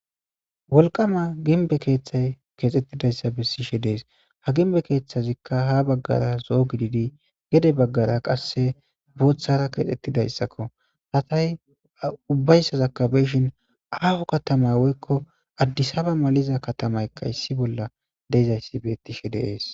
Wolqama ginbe keeththay keexxettidayssa bessishe dees ha ginbe keeththazikka ha baggara zo'o gididi gede baggara qasse booththara keexxettidayssakko satay ubbayssa zakabeshin aahu katamay woykko addisaba maliza katamaykka issi bolla deyzayssi bettishe deees.